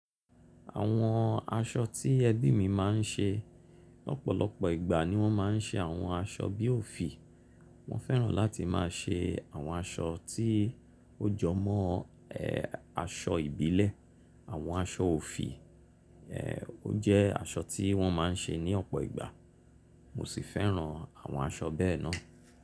Àwọn aṣọ tí ẹbí mi máa ń ṣe lọ́pọ̀lọpọ̀ ìgbà ni wọ́n máa ń ṣe àwọn aṣọ bí òfì. Wọ́n fẹ́ràn láti máa ṣe àwọn aṣọ tí ó jọ mọ́ e aṣọ ìbílẹ̀. Àwọn aṣọ òfì, ẹ́, ó jẹ́ aṣọ tí wọ́n máa ń ṣe ní ọ̀pọ̀ ìgbà, mo sì fẹ́ràn àwọn aṣọ bẹ́ẹ̀ náà.